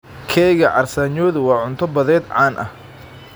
Keega carsaanyodu waa cunto badeed caan ah.